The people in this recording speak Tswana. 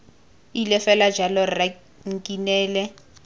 ile fela jalo rra nkinele